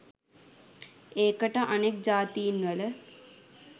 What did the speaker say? ඒකට අනෙක් ජාතීන්වල